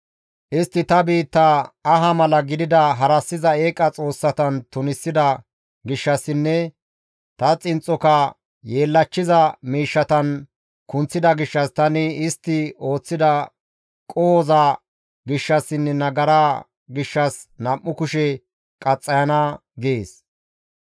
Istti ta biittaa aha mala gidida harassiza eeqa xoossatan tunisida gishshassinne ta xinxxoka yeellachchiza miishshatan kunththida gishshas tani istti ooththida qohoza gishshassinne nagara gishshas nam7u kushe qaxxayana» gees.